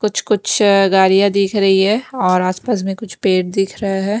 कुछ कुछ गाड़ियां दिख रही हैं और आसपास मे कुछ पेड़ दिख रहे है।